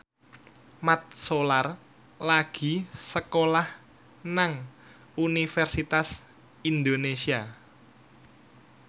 Mat Solar lagi sekolah nang Universitas Indonesia